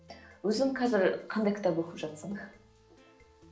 өзің қазір қандай кітап оқып жатырсың